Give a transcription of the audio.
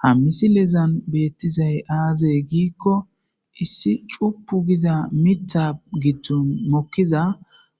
ha misilezan beettizay aazey giikko issi cupu gida mita gidtu mokkiza